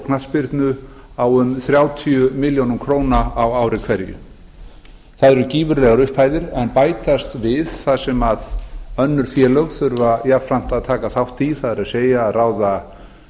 knattspyrnu á um þrjátíu milljónir króna á ári hverju það eru gífurlegar upphæðir sem bætast við það sem önnur félög þurfa jafnframt að taka þátt í það er að ráða